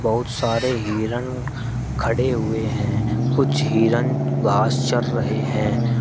बहुत सारे हिरन खड़े हुए हैं कुछ हिरण घास चर रहे हैं।